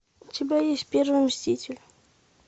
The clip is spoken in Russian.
у тебя есть первый мститель